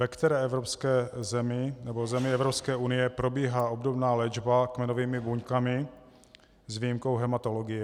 Ve které evropské zemi nebo zemi Evropské unie probíhá obdobná léčba kmenovými buňkami s výjimkou hematologie?